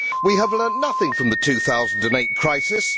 We have learnt nothing from the 2008 crisis.